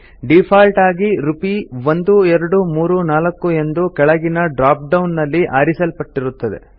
default ಆಗಿ ರುಪೀ1234 ಎಂದು ಕೆಳಗಿನ drop ಡೌನ್ ನಲ್ಲಿ ಆರಿಸಲ್ಪಟ್ಟಿರುತ್ತದೆ